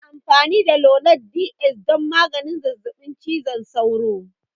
Ana amfani da lonart Ds don magance zazzabin cizon sauro.